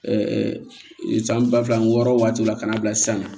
san ba fila ani wɔɔrɔ waati la ka na bila sisan